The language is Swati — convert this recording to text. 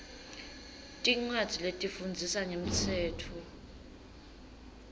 tincwadzi letifundzisa ngemtsetfo